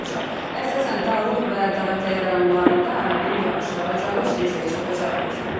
Əsasən dağlıq və dağətəyi rayonlarında arabir yağış yağacağı, şimşək çaxacağı gözlənilir.